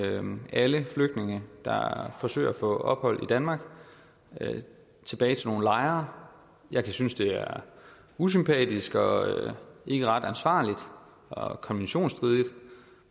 alle flygtninge der forsøger at få ophold i danmark tilbage til nogle lejre jeg kan synes at det er usympatisk og ikke ret ansvarligt og konventionsstridigt